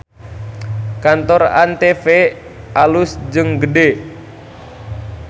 Kantor ANTV alus jeung gede